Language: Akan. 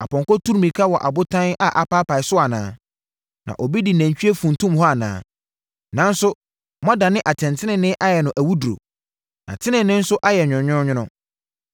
Apɔnkɔ tu mmirika wɔ abotan a apaapae so anaa? Na obi de nantwie funtum hɔ anaa? Nanso, moadane atɛntenenee ayɛ no awuduro. Na tenenee nso ayɛ nwononwono.